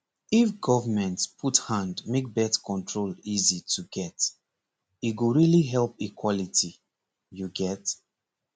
if government put hand make birth control easy to get e go really bring equality you get